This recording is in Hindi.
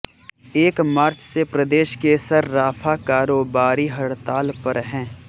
एक मार्च से प्रदेश के सर्राफा कारोबारी हड़ताल पर हैं